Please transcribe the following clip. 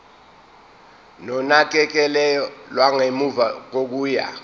nonakekelo lwangemuva kokuya